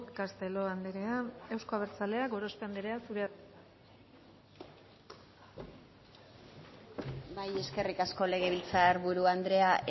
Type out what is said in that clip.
castelo anderea euzko abertzaleak gorospe anderea zurea da hitza bai eskerrik asko legebiltzar buru anderea